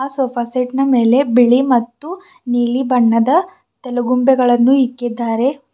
ಆ ಸೋಫಾ ಸೆಟ್ನ ಮೇಲೆ ಬಿಳಿ ಮತ್ತು ನೀಲಿ ಬಣ್ಣದ ತಲೆಗುಂಬೆಗಳನ್ನು ಇಕ್ಕಿದ್ದಾರೆ.